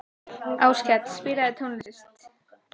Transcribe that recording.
Áskell, spilaðu tónlist.